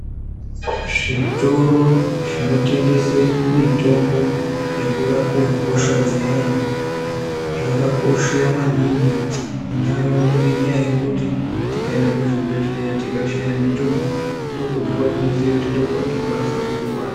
Zvitoro zvinotengese mitombo wekurape hosha dzeanhu zvakakosha maningi muntaraunda ngenyaya yekuti tikaenda kuzvibhedhleya tikashaya mitombo ndokwega kwatinoziya kuti ndokwatinokwanisa kuiwana.